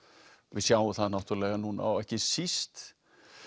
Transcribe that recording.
við sjáum það náttúrulega núna og ekki síst